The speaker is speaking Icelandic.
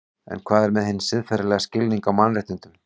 En hvað með hinn siðferðilega skilning á mannréttindum?